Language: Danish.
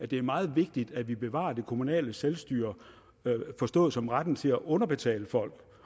det er meget vigtigt at vi bevarer det kommunale selvstyre forstået som retten til at underbetale folk